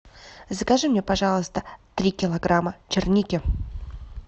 закажи мне пожалуйста три килограмма черники